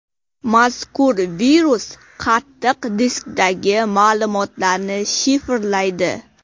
Mazkur virus qattiq diskdagi ma’lumotlarni shifrlaydi.